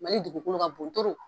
Mali dugukolo ka bon .